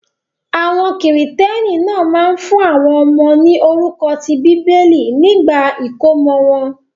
Àwọn Kìrìtẹ́ẹ́nì náà máa ń fún àwọn ọmọ ní orúkọ ti Bíbélì nígbà ìkómọ wọn.